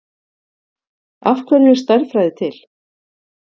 Af hverju er stærðfræði til?